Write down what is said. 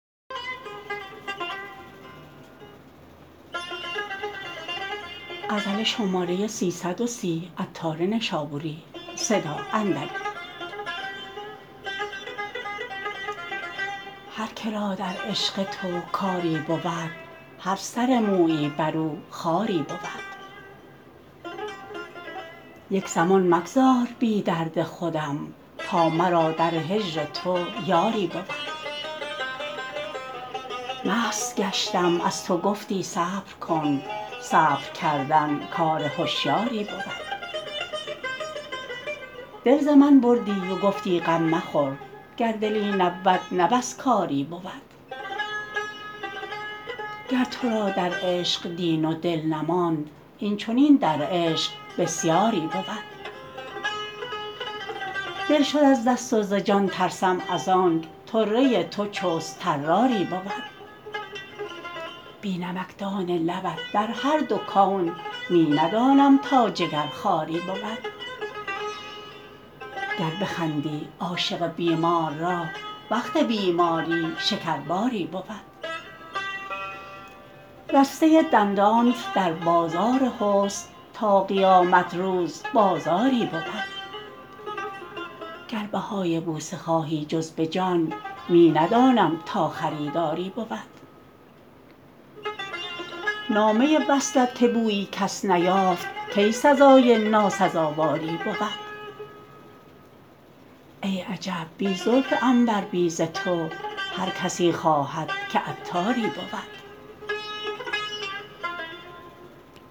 هر که را در عشق تو کاری بود هر سر مویی برو خاری بود یک زمان مگذار بی درد خودم تا مرا در هجر تو یاری بود مست گشتم از تو گفتی صبر کن صبر کردن کار هشیاری بود دل ز من بردی و گفتی غم مخور گر دلی نبود نه بس کاری بود گر تو را در عشق دین و دل نماند این چنین در عشق بسیاری بود دل شد از دست و ز جان ترسم ازانک طره تو چست طراری بود بی نمکدان لبت در هر دو کون می ندانم تا جگر خواری بود گر بخندی عاشق بیمار را وقت بیماری شکرباری بود رسته دندانت در بازار حسن تا قیامت روز بازاری بود گر بهای بوسه خواهی جز به جان می ندانم تا خریداری بود نافه وصلت که بویی کس نیافت کی سزای ناسزاواری بود ای عجب بی زلف عنبر بیزتو هر کسی خواهد که عطاری بود